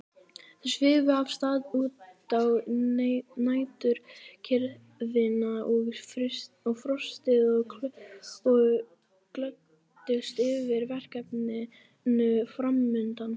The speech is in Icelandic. Þau svifu af stað út í næturkyrrðina og frostið og glöddust yfir verkefninu framundan.